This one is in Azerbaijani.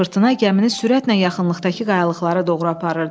Fırtına gəmini sürətlə yaxınlıqdakı qayalıqlara doğru aparırdı.